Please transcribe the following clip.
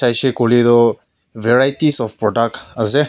huishe kuile toh varieties of product ase.